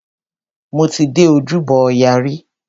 Mo ti dé Ojúbọ ọya rí.